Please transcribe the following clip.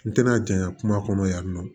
N tɛna janɲa kuma kɔnɔ yan nɔ